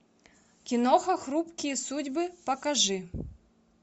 киноха хрупкие судьбы покажи